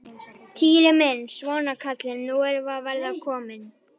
Týri minn, svona kallinn, nú erum við að verða komin.